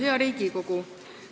Hea Riigikogu!